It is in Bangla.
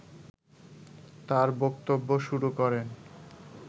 তার বক্তব্য শুরু করেন